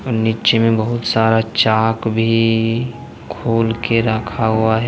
नीचे में बहुत सारा चाक भी खोल के रखा हुआ है।